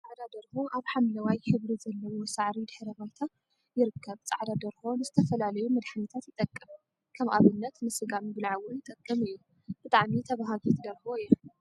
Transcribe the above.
ፃዕዳ ደርሆ አብ ሓምለዋይ ሕብሪ ዘለዎ ሳዕሪ ድሕረ ባይታ ይርከብ ፃዕዳ ደርሆ ንዝተፈላለዩ መድሓኒታት ይጠቅም፣. ከም አብነት ንስጋ ምብላዕ እውን ይጠቅም እዩ፡፡ ብጣዕሚ ተበሃጊት ደርሆ እያ፡፡